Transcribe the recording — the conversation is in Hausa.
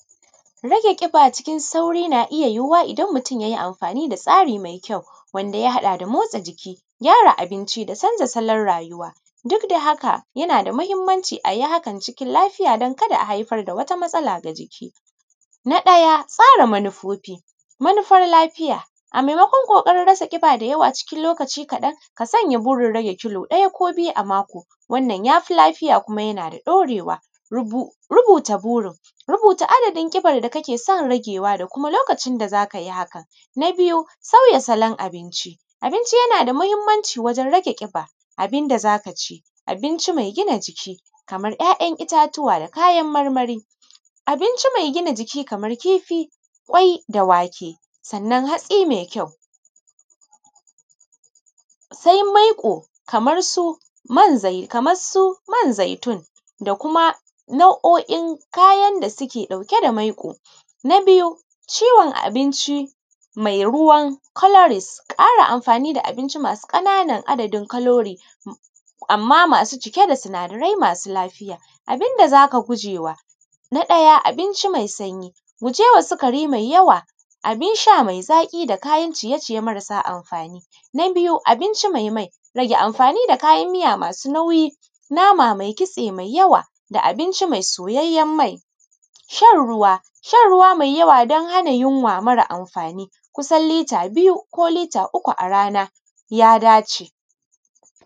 Rage ƙiba cikin sauri na iya yiwuwa idan mutum ya yi amfani da tsari mai kyau, wanda ya haɗa da motsa jiki, gyara abinci da canza salon rayuwa. Duk da haka, yana da muhimmanci a yi hakan cikin lafiya don kada a haifar da wata matsala ga jiki. Na ɗaya, tsara manufofi, manufar lafiya. A maimakon ƙoƙarin rasa ƙiba da yawa cikin lokaci kaɗan, ka sanya burin rai ya kilo ɗaya ko biyu a mako. Wannan ya fi lafiya kuma yana da ɗorewa. Rubuta burin, rubuta adadin ƙibar da kake son ragewa da kuma lokacin da za ka yi hakan. Na biyu, sauya salon abinci. Abinci yana da muhimmanci wurin rage ƙiba. Abin da za ka ci, abinci mai gina jiki, kamar ‘ya’yan itatuwa da kayan marmari. Abinci mai gina jiki kamar kifi, ƙwai da wake, sannan hatsi mai kyau. Sai maiƙo kamar su man zaitun, kamar su man zaitun da kuma nau’o’in kayan da suke ɗauke da maiƙo. Na biyu, ciwon abinci mai ruwan colorist, ƙara amfani da abinci masu ƙananan adadin colorist, amma masu cike da sinadara masu lafiya. Abin da za ka guje wa: na ɗaya, abinci mai sanyi, guje wa sikari mai yawa, abin sha mai zaƙi da kayan ciye ciye marasa amfani. Na biyu, abinci mai mai. Rage amfani da kayan miya masu nauyi, nama mai kitse mai yawa da abinci mai soyayyen mai. Shan ruwa, shan ruwa mai yawa don hana yunwa mara amfani kusan lita biyu ko lita uku a rana ya dace.